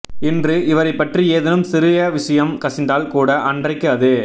இன்று இவரை பற்றி ஏதேனும் சிறிய விஷயம் கசிந்தால் கூட அன்றைக்கு அது